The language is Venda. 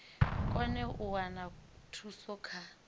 kone u wana thuso kha